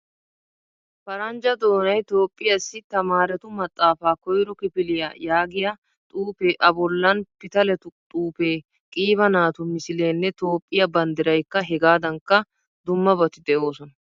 Paranjja doonay toophphiyaasi tamarettu maxaafaa koyro kifiliyaa yaagiya xuufe a bollan pitaleettu xuufe qiiba naatu misilenne toophphiyaa banddiraykka hegadankka dummabati deosona.